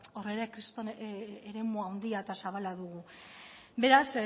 hor ere kriston eremu handia eta zabala dugu beraz